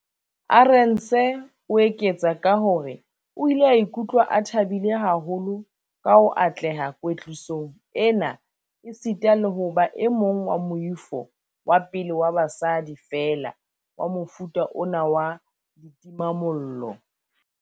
Arendse o eketsa ka hore o ile a ikutlwa a thabile haholo ka ho atleha kwetlisong ena esita le ho ba e mong wa moifo wa pele wa basadi feela wa mofuta ona wa ditimamollo.